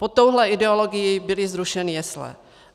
Pod touhle ideologií byly zrušeny jesle.